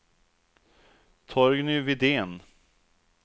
Torgny Widén